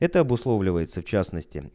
это обусловливается в частности